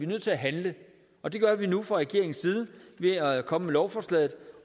nødt til at handle og det gør vi nu fra regeringens side ved at komme med lovforslaget